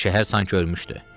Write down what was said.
Şəhər sanki ölmüşdü.